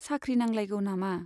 साख्रि नांलायगौ नामा?